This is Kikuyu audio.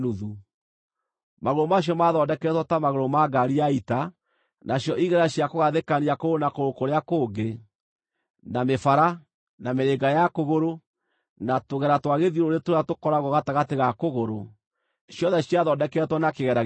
Magũrũ macio maathondeketwo ta magũrũ ma ngaari ya ita, nacio igera cia kũgathĩkania kũgũrũ na kũgũrũ kũrĩa kũngĩ, na mĩbara, na mĩrĩnga ya kũgũrũ, na tũgera twa gĩthiũrũrĩ tũrĩa tũkoragwo gatagatĩ ga kũgũrũ, ciothe ciathondeketwo na kĩgera gĩtwekie.